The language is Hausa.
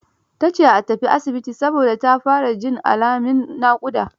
Ta ce a tafi asibiti, saboda ta fara jin alamin naƙuda.